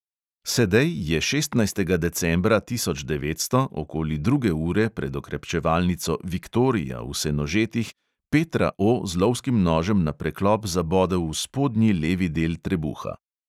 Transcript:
Sedej je šestnajstega decembra tisoč devetsto okoli druge ure pred okrepčevalnico viktorija v senožetih petra O z lovskim nožem na preklop zabodel v spodnji levi del trebuha.